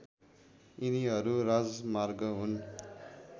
यिनीहरू राजमार्ग हुन्